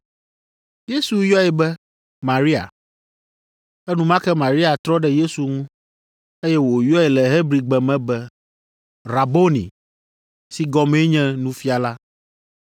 Yesu yɔe be, “Maria!” Enumake Maria trɔ ɖe Yesu ŋu, eye wòyɔe le Hebrigbe me be, “Raboni!” (si gɔmee nye “Nufiala”).